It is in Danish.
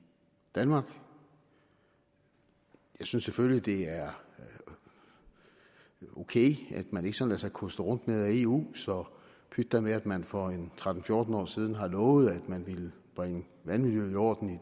danmark jeg synes selvfølgelig det er okay at man ikke sådan lader sig koste rundt med af eu så pyt da med at man for en tretten til fjorten år siden har lovet at man ville bringe vandmiljøet i orden i